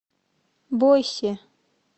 бойсе